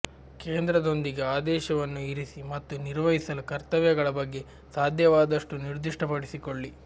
ಕೇಂದ್ರದೊಂದಿಗೆ ಆದೇಶವನ್ನು ಇರಿಸಿ ಮತ್ತು ನಿರ್ವಹಿಸಲು ಕರ್ತವ್ಯಗಳ ಬಗ್ಗೆ ಸಾಧ್ಯವಾದಷ್ಟು ನಿರ್ದಿಷ್ಟಪಡಿಸಿಕೊಳ್ಳಿ